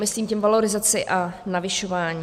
Myslím tím valorizaci a navyšování.